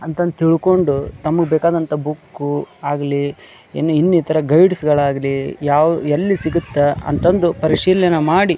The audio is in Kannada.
ಅಂತಂದು ತಿಳ್ಕೊಂಡು ತಮಗೆ ಬೇಕಾಂದಂತ ಬುಕ್ ಆಗಲಿ ಇನ್ನಿತರ ಗೈಡ್ಸ್ ಗಳಾಗಲಿ ಯಾವು ಎಲ್ಲಿ ಸಿಗುತ್ತೆ ಅಂತಂದು ಪರಿಶೀಲನೆ ಮಾಡಿ --